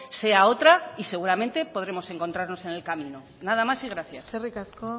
sea otra y seguramente podremos encontrarnos en el camino nada más y gracias eskerrik asko